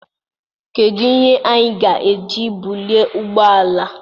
Kedu ihe anyị ga-eji bulie ụgbọ ala a?